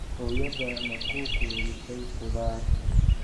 Hooyadaa ma ku quudisay khudaar?